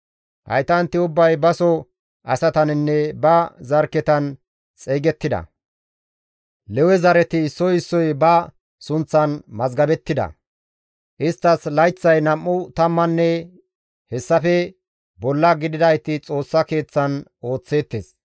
Haytanti ubbay baso asataninne ba zarkketan xeygettida; Lewe zareti issoy issoy ba sunththan mazgabettida; isttas layththay nam7u tammanne hessafe bolla gididayti Xoossa Keeththan ooththeettes.